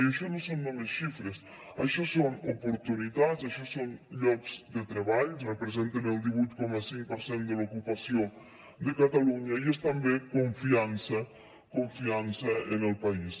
i això no són només xifres això són oportunitats això són llocs de treball representen el divuit coma cinc per cent de l’ocupació de catalunya i és també confiança confiança en el país